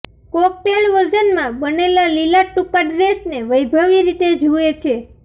cocktail વર્ઝનમાં બનેલા લીલા ટૂંકા ડ્રેસને વૈભવી રીતે જુએ છે